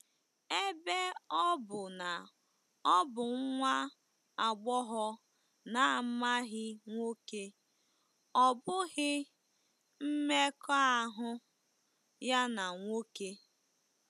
Ebe ọ bụ na ọ bụ nwa agbọghọ na-amaghị nwoke, ọ bụghị “mmekọahụ” ya na nwoke.